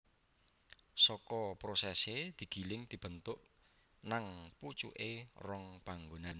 Saka prosesé digiling dibentuk nang pucuké rong panggonan